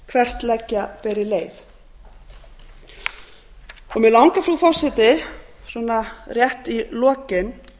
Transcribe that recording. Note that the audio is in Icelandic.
hvert leggja beri leið mig langar frú forseti svona rétt í lokin